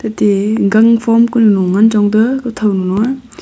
de gangphom konu ngan chong taiga kothonu a.